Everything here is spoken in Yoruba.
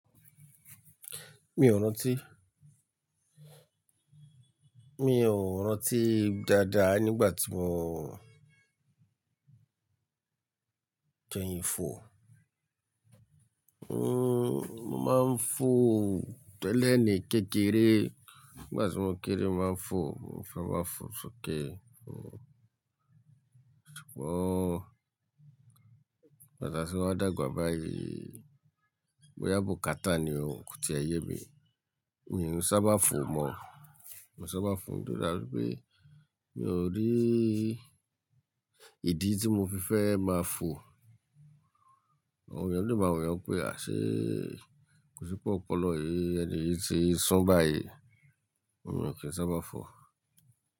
Mi ò rántí. Mi ò rántí dáadáa nígbà tí mò ń kẹyin fò. Hmm, mo máa ń fò tẹ́lẹ̀ ní kékeré. Nígbà tí mò ń kéré, mo máa ń fò, mo fẹ́ máa fò ṣíkẹ̀. Ṣùgbọ́n kaka tí mo wa dàgbà báyìí, bóyá bùkátà ni ó koti ẹ yẹ mi, mi ò sábà fò mọ́. Mi ò sábà fò nítorí pé mi ò rí ìdí tí mo fi fẹ́ máa fò. Àwọn ènìyàn lè máa wí ọ̀ún pé, "àṣé, kò sí pé ọpọlọ yìí, ẹni yìí ti san báyìí." mi ò kí ń sábà fò.